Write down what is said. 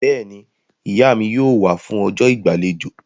Bẹ́ẹ̀ni, Ìyá mi yóò wá fún ọjọ́ ìgbàlejò